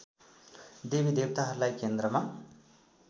देवी देवताहरूलाई केन्द्रमा